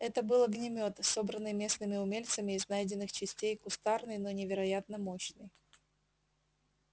это был огнемёт собранный местными умельцами из найденных частей кустарный но невероятно мощный